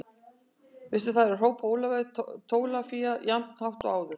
Veistu það ekki hrópaði Ólafía Tólafía jafn hátt og áður.